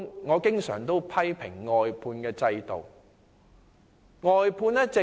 我經常批評外判制度。